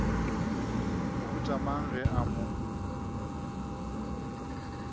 mohuta mang ge a mo